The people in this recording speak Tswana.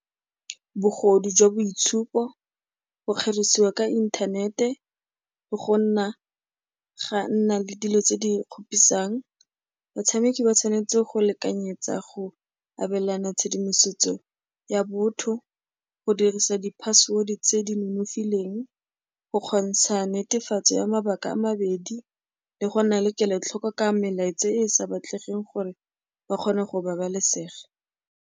Bogodu jwa boitshupo, go kgerisiwa ka inthanete, go ga nna le dilo tse di kgopisang. Batshameki ba tshwanetse go lekanyetsa go abelana tshedimosetso ya botho, go dirisa di-password-e tse di nonofileng, go kgontsha netefatso ya mabaka a mabedi le go nna le kelotlhoko ka melaetsa e e sa batlegeng gore ba kgone go babalesega.